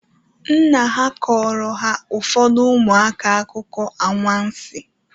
Nna ha kọọrọ ha ụfọdụ ụmụaka akụkọ anwansi.